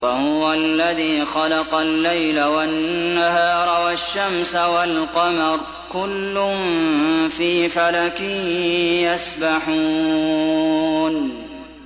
وَهُوَ الَّذِي خَلَقَ اللَّيْلَ وَالنَّهَارَ وَالشَّمْسَ وَالْقَمَرَ ۖ كُلٌّ فِي فَلَكٍ يَسْبَحُونَ